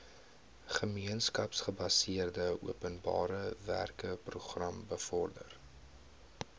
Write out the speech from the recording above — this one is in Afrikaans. gemeenskapsgebaseerde openbarewerkeprogram bevorder